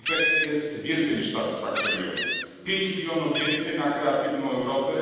Efekt jest więcej niż satysfakcjonujący 5 milionów więcej na Kreatywną Europę.